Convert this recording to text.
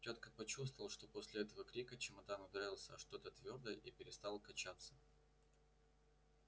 тётка почувствовала что после этого крика чемодан ударился о что-то твёрдое и перестал качаться